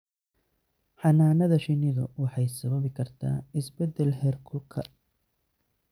Xannaanada shinnidu waxay sababi kartaa isbeddel heerkulka.